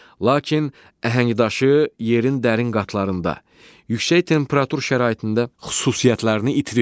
Lakin əhəngdaşı yerin dərin qatlarında, yüksək temperatur şəraitində xüsusiyyətlərini itirir.